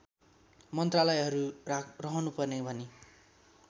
मन्त्रालयहरू रहनुपर्ने भनी